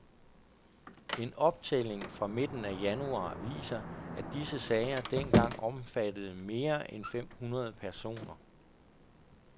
En optælling fra midten af januar viser, at disse sager dengang omfattede mere end fem hundrede personer.